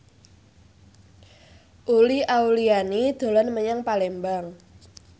Uli Auliani dolan menyang Palembang